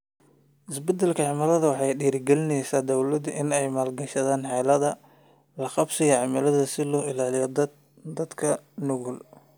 Isbeddelka cimiladu waxay ku dhiirigelinaysaa dawladaha inay maalgashadaan xeeladaha la qabsiga cimilada si loo ilaaliyo dadka nugul.